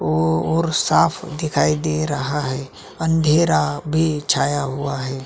और साफ़ दिखाई दे रहा है अँधेरा भी छाया हुआ है |